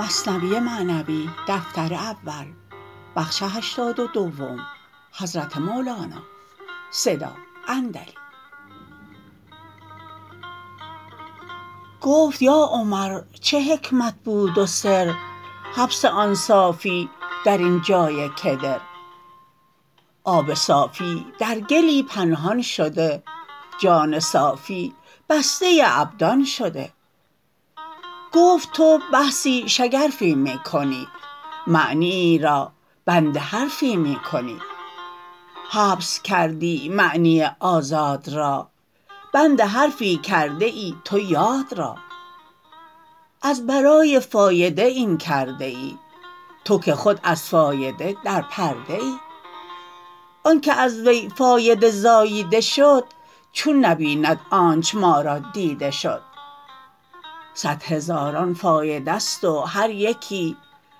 گفت یا عمر چه حکمت بود و سر حبس آن صافی درین جای کدر آب صافی در گلی پنهان شده جان صافی بسته ابدان شده گفت تو بحثی شگرفی می کنی معنیی را بند حرفی می کنی حبس کردی معنی آزاد را بند حرفی کرده ای تو یاد را از برای فایده این کرده ای تو که خود از فایده در پرده ای آنک از وی فایده زاییده شد چون نبیند آنچ ما را دیده شد صد هزاران فایده ست و هر یکی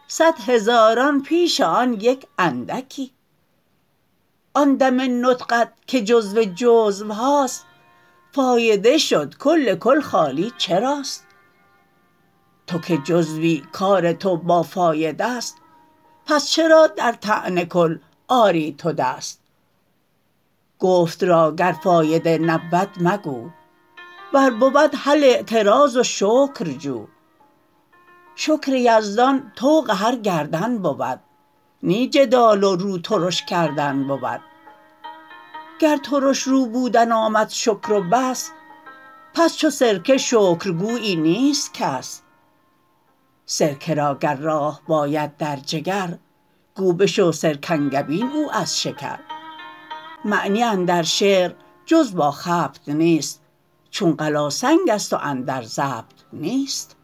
صد هزاران پیش آن یک اندکی آن دم نطقت که جزو جزوهاست فایده شد کل کل خالی چراست تو که جزوی کار تو با فایده ست پس چرا در طعن کل آری تو دست گفت را گر فایده نبود مگو ور بود هل اعتراض و شکر جو شکر یزدان طوق هر گردن بود نی جدال و رو ترش کردن بود گر ترش رو بودن آمد شکر و بس پس چو سرکه شکرگویی نیست کس سرکه را گر راه باید در جگر گو بشو سرکنگبین او از شکر معنی اندر شعر جز با خبط نیست چون قلاسنگست و اندر ضبط نیست